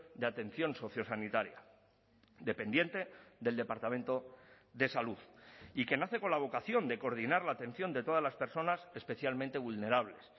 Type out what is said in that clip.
de atención sociosanitaria dependiente del departamento de salud y que nace con la vocación de coordinar la atención de todas las personas especialmente vulnerables